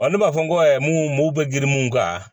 Ɔ ne b'a fɔ ko n ko mun bɛ girin mun kan